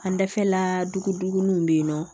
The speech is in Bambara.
An dafɛla dugu ninnu bɛ yen nɔ